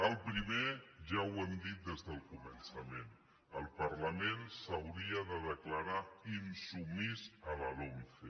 el primer ja ho hem dit des del començament el parlament s’hauria de declarar insubmís a la lomce